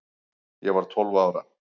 Ég var tólf ára